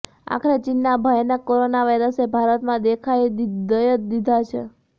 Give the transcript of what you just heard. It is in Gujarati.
આખરે ચીનના ભયાનક કોરોના વાયરસે ભારતમાં દેખા દઈ જ દીધા છે